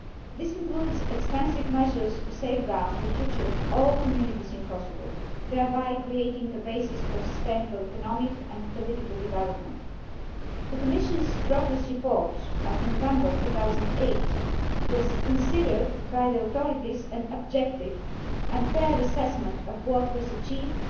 This includes extensive measures to safeguard the future of all communities in Kosovo, thereby creating a basis for sustainable economic and political development. The Commission's progress report of November 2008 was considered by the authorities to be an objective and fair assessment of what was achieved